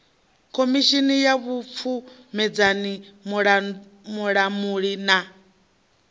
khomishini ya vhupfumedzani vhulamuli na